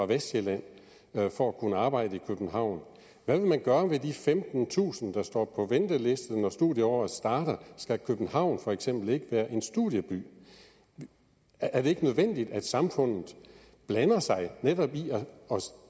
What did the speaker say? vestsjælland for at kunne arbejde i københavn hvad vil man gøre med de femtentusind der står på venteliste når studieåret starter skal københavn for eksempel ikke være en studieby er det ikke nødvendigt at samfundet blander sig